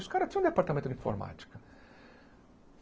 Os caras tinham departamento de informática.